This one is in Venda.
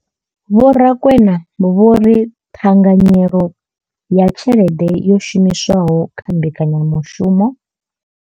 Vho Rakwena vho ri ṱhanganyelo ya tshelede yo shumiswaho kha mbekanya mushumo.